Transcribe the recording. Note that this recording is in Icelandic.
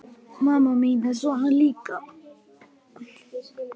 Mamma mín er svona líka.